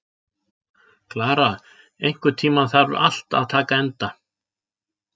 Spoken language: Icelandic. Klara, einhvern tímann þarf allt að taka enda.